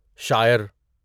شاعر